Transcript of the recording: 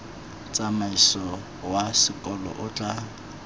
tsamaiso wa sekolo o tla